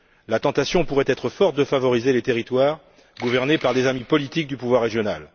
La tentation pourrait être forte de favoriser les territoires gouvernés par des amis politiques du pouvoir régional.